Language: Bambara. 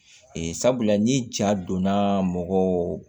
Ee sabula ni ja donna mɔgɔw